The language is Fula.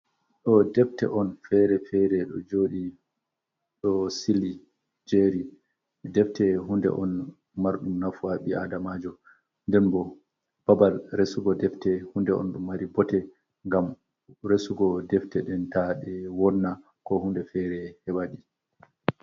Ɗo defte on fere fere ɗo joɗi ɗo sili jeri. Defte hunde on marɗum nafu ha ɓi adamajo. Nden bo babal resu go defte hunde, on ɗum mari bote, ngam resugo tefte nɗen taɗe wonna ko hunde fere heɓaɗe.